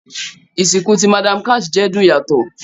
Isinku ti Madam Cash jẹ dun yato